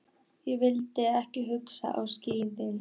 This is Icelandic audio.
Ég vildi ekki hlusta á slíkt.